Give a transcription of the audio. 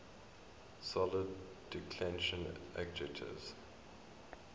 second declension adjectives